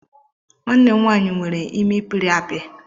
Nwannem nwanyi nwere imi pịrị apị